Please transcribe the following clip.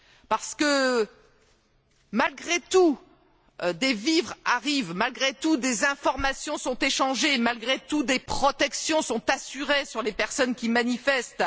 Parce que, malgré tout, des vivres arrivent, malgré tout, des informations sont échangées, malgré tout, des protections sont assurées pour les personnes qui manifestent.